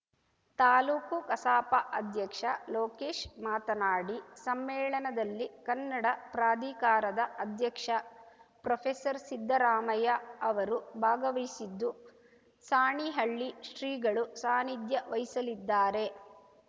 ತಾಲೂಕು ಕಸಾಪ ಅಧ್ಯಕ್ಷ ಲೋಕೇಶ್‌ ಮಾತನಾಡಿ ಸಮ್ಮೇಳನದಲ್ಲಿ ಕನ್ನಡ ಪ್ರಾಧಿಕಾರದ ಅಧ್ಯಕ್ಷ ಪ್ರೊಫೆಸರ್ ಸಿದ್ದರಾಮಯ್ಯ ಅವರು ಭಾಗವಹಿಸಿದ್ದು ಸಾಣಿಹಳ್ಳಿ ಶ್ರೀಗಳು ಸಾನಿಧ್ಯ ವಹಿಸಲಿದ್ದಾರೆ